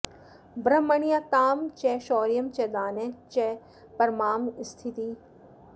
ब्रह्मण्यतां च शौर्यं च दाने च परमां स्थितिम्